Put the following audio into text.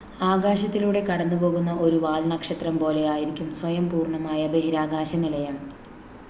ആകാശത്തിലൂടെ കടന്നു പോകുന്ന ഒരു വാൽനക്ഷത്രം പോലെ ആയിരിക്കും സ്വയം പൂർണ്ണമായ ബഹിരാകാശ നിലയം